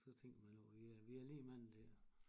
Så tænker man over vi er vi er lige mange dér